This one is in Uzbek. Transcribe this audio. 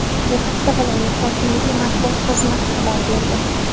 Bu haqda viloyat hokimligi matbuot xizmati xabar berdi .